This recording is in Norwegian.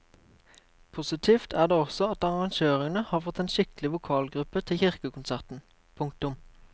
Positivt er det også at arrangørene har fått en skikkelig vokalgruppe til kirkekonserten. punktum